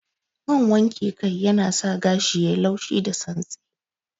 Man wanke kan yanasa gashi yayi laushi da santsi